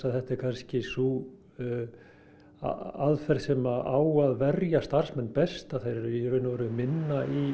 þetta er kannski sú aðferð sem á að verja starfsmenn best þeir eru í raun og veru í minni